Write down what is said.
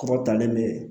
Kɔrɔ talen bɛ